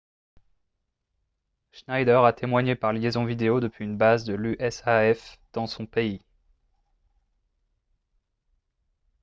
schneider a témoigné par liaison vidéo depuis une base de l'usaf dans son pays